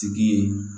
Tigi ye